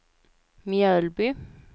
Mjölby